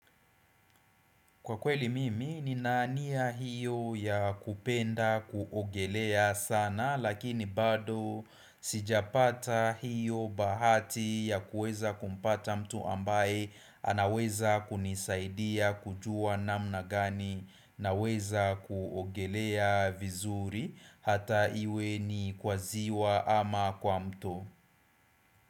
Kwa kweli mimi nini nia hiyo ya kupenda kuogelea sana lakini bado sijapata hiyo bahati ya kuweza kumpata mtu ambaye anaweza kunisaidia kujua namna gani naweza kuogelea vizuri hata iwe ni kwa ziwa ama kwa mto.